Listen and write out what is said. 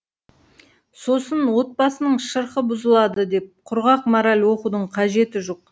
сосын отбасының шырқы бұзылады деп құрғақ мораль оқудың қажеті жоқ